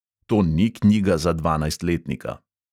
To ni knjiga za dvanajstletnika.